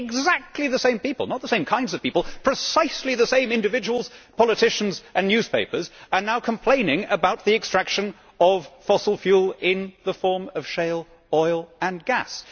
Yet exactly the same people not the same kinds of people but precisely the same individuals, politicians and newspapers are now complaining about the extraction of fossil fuel in the form of shale oil and gas.